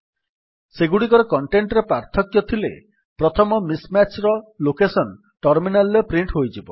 ସେଗୁଡ଼ିକର କଣ୍ଟେଣ୍ଟ୍ ରେ ପାର୍ଥକ୍ୟ ଥିଲେ ପ୍ରଥମ ମିସ୍ ମ୍ୟାଚ୍ ର ଲୋକେସନ୍ ଟର୍ମିନାଲ୍ ରେ ପ୍ରିଣ୍ଟ୍ ହୋଇଯିବ